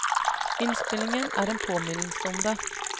Innspillingen er en påminnelse om det.